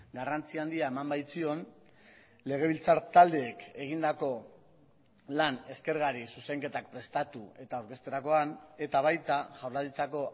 garrantzi handia eman baitzion legebiltzar taldeek egindako lan eskergari zuzenketak prestatu eta aurkezterakoan eta baita jaurlaritzako